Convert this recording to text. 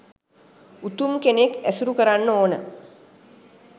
උතුම් කෙනෙක් ඇසුරු කරන්න ඕන